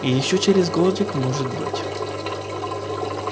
ещё через годик может быть